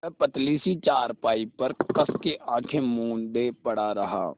वह पतली सी चारपाई पर कस के आँखें मूँदे पड़ा रहा